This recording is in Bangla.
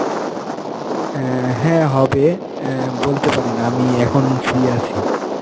অ্যাঁ হ্যাঁ হবে অ্যাঁ বলতে পারেন, আমি এখন free আছি.